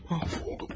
Şimdi mahv oldum.